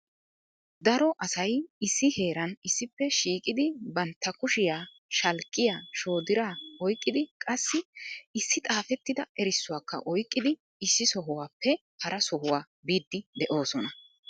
Daro asay issi heeran issippe shiiqidi bantta kushiyaa shalkkiya, shoodira oyqqidi qassi issi xaafettida erissuwakka oyqqidi issi sohuwappe haraa sohuwaa biidi de'oosona.